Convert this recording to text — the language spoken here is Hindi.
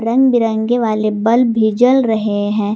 रंग बिरंगे वाले बल्ब भी जल रहे हैं।